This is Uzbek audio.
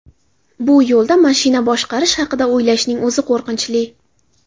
Bu yo‘lda mashina boshqarish haqida o‘ylashning o‘zi qo‘rqinchli.